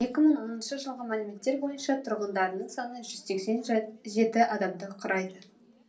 екі мың оныншы жылғы мәліметтер бойынша тұрғындарының саны жүз сексен жеті адамды құрайды